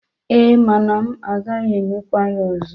E, mana m gaghi emekwa ya ozo.